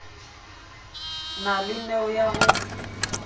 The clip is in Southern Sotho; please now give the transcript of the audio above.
na le neo ya ho